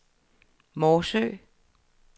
Morsø